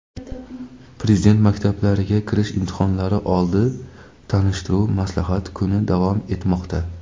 Prezident maktablariga kirish imtihonlari oldi tanishtiruv-maslahat kuni davom etmoqda.